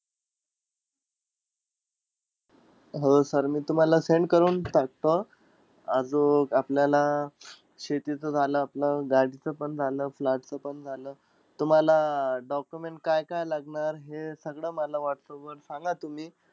हो sir मी तुम्हाला send करून टाकतो. आजूक, आपल्यालाला शेतीच झालं, आपलं गाडीचं पण झालं, flat च पण झालं. तुम्हाला आह document काय-काय लागणार हे सगळं माला whatsapp वर सांगा तुम्ही.